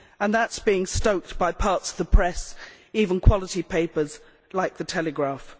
This is being stoked by parts of the press, even quality papers like The Telegraph